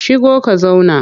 Shigo ka zauna!